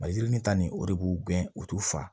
Maliyirini ta nin o de b'u gɛn u t'u fa